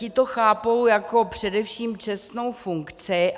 Ti to chápou jako především čestnou funkci.